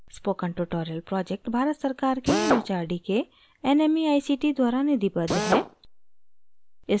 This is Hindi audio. spoken tutorial project भारत सरकार के एम एच आर डी के nmeict द्वारा निधिबद्ध है